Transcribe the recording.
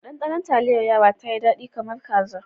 Ɗanɗanon taliyar yara tayi dadi kamar kaza.